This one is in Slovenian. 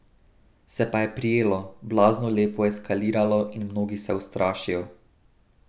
Se pa je prijelo, blazno lepo eskaliralo in mnogi se ustrašijo.